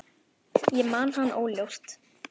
Ég man hann óljóst.